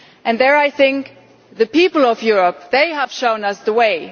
There I think the people of Europe have shown us the way